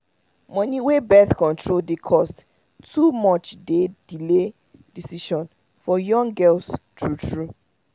money wey birth control dey cost too much dey delay decision for young girls true true